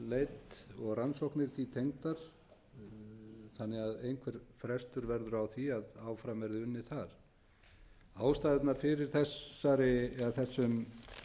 olíuleit og rannsóknir því tengdar þannig að einhver frestur verður á því að áfram verði unnið þar ástæðurnar fyrir þessum